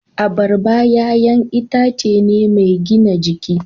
Abarba 'ya'yan itace ne mai gina jiki.